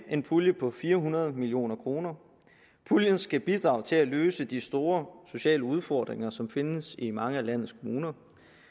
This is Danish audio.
en pulje på fire hundrede million kroner puljen skal bidrage til at løse de store sociale udfordringer som findes i mange af landets kommuner